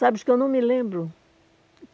Sabes que eu não me lembro?